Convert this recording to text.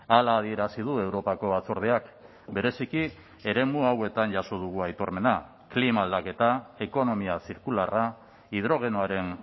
hala adierazi du europako batzordeak bereziki eremu hauetan jaso dugu aitormena klima aldaketa ekonomia zirkularra hidrogenoaren